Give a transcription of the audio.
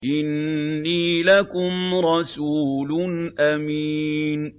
إِنِّي لَكُمْ رَسُولٌ أَمِينٌ